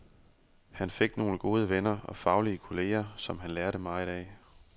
Han fik nogle gode venner og faglige kolleger, som han lærte meget af.